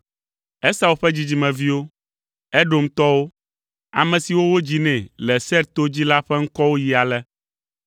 Esau ƒe dzidzimeviwo, Edomtɔwo, ame siwo wodzi nɛ le Seir to dzi la ƒe ŋkɔwo yi ale: